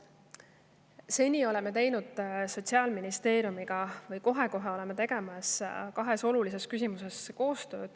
Seni oleme Sotsiaalministeeriumiga teinud või kohe-kohe hakkame koostööd tegema kahes olulises küsimuses.